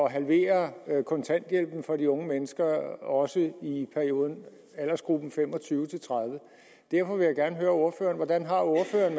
at halvere kontanthjælpen for de unge mennesker også i aldersgruppen fem og tyve til tredive år derfor vil jeg gerne høre ordføreren hvordan har ordføreren